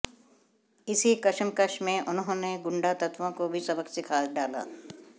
इसी कशमकश में उन्होंने गुंडातत्त्वों को भी सबक सिखा डाला